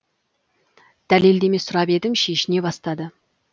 дәлелдеме сұрап едім шешіне бастады